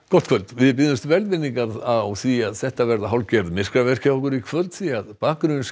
gott kvöld við biðjumst velvirðingar á því að þetta verða hálfgerð myrkaverk hjá okkur í kvöld því